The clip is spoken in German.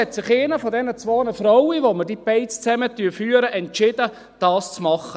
Eine der beiden Frauen, mit denen wir diese Beiz führen, hat sich entschieden, dies zu machen.